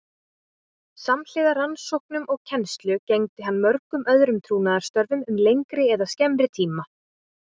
Samhliða rannsóknum og kennslu gegndi hann mörgum öðrum trúnaðarstörfum um lengri eða skemmri tíma.